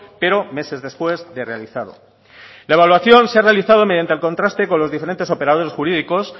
pero meses después de realizado la evaluación se ha realizado mediante el contraste con los diferentes operadores jurídicos